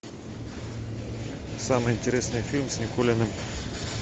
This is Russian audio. самый интересный фильм с никулиным